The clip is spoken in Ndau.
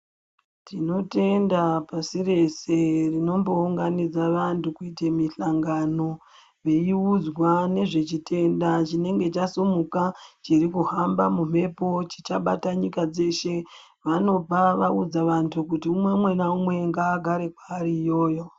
Tinotenda pasi ree rinombounganidza vantu kuite mihlangano, veiudzwa nezvechitenda chinenge chasumuka ,chiri kuhamba mumhepo chichabata nyika dzeshe. Vanobva vaudza vantu kuti ,umwe naumwe ngaagare ari kwaari iyoyo.